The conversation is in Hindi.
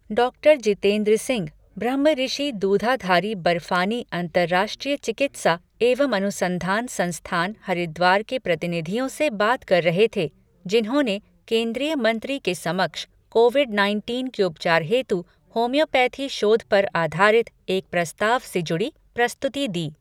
डॉक्टर जितेंद्र सिंह, ब्रह्मऋषि दूधाधारी बर्फानी अंतरराष्ट्रीय चिकित्सा एवं अनुसंधान संस्थान हरिद्वार के प्रतिनिधियों से बात कर रहे थे, जिन्होंने केंद्रीय मंत्री के समक्ष कोविड नाइनटीन के उपचार हेतु होम्योपैथी शोध पर आधारित एक प्रस्ताव से जुड़ी प्रस्तुति दी।